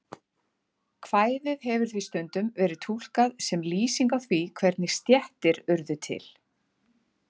Kvæðið hefur því stundum verið túlkað sem lýsing á því hvernig stéttir urðu til.